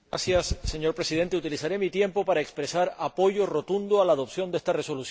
Señor Presidente, utilizaré mi tiempo para expresar apoyo rotundo a la adopción de esta Resolución.